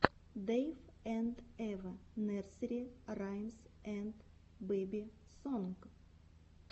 дэйв энд эва нерсери раймс энд бэби сонг